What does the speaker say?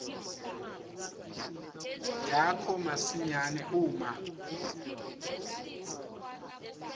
yakho masinyane uma